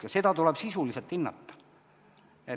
Ka seda tuleb sisuliselt hinnata.